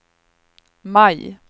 maj